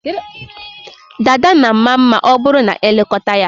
Dada na ama mma ma ọ bụrụ na e lekọta ya.